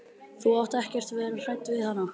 Þú átt ekkert að vera hræddur við hana.